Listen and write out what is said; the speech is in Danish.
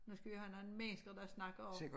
Nu skal vi jo have en anden mennesker der snakker og